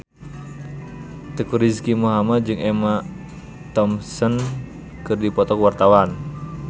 Teuku Rizky Muhammad jeung Emma Thompson keur dipoto ku wartawan